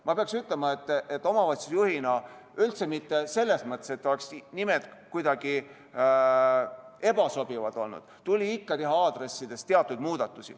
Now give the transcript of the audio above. Ma pean ütlema, et omavalitsusjuhina – ja üldse mitte selles mõttes, et nimed oleksid kuidagi ebasobivad olnud – tuli ikkagi aadressides teha teatud muudatusi.